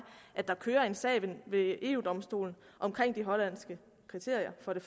at der kører en sag ved eu domstolen omkring de hollandske kriterier og for det